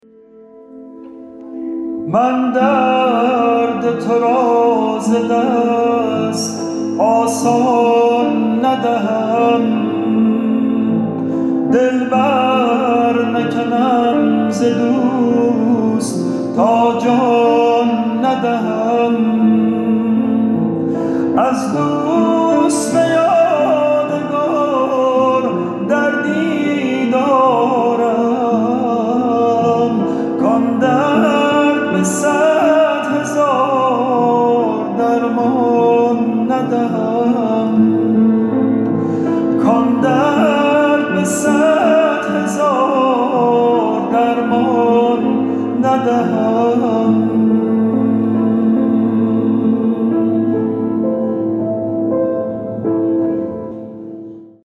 من درد ترا ز دست آسان ندهم دل بر نکنم ز دوست تا جان ندهم از دوست به یادگار دردی دارم کان درد به صد هزار درمان ندهم